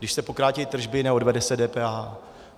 Když se pokrátí tržby, neodvede se DPH.